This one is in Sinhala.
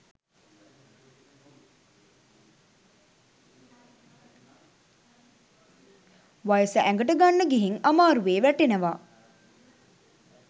වයස ඇඟට ගන්න ගිහින් අමාරුවෙ වැටෙනවා.